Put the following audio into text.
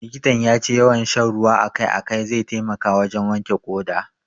Likitan ya ce yawan sha ruwa a kai a kai zai taimaka wajen wanke ƙoda.